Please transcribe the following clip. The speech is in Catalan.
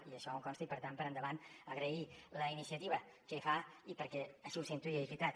i això em consta i per tant per endavant agrair la iniciativa que fa i perquè així ho sento i és veritat